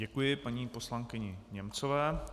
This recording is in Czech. Děkuji paní poslankyni Němcové.